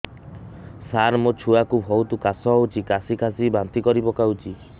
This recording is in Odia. ସାର ମୋ ଛୁଆ କୁ ବହୁତ କାଶ ହଉଛି କାସି କାସି ବାନ୍ତି କରି ପକାଉଛି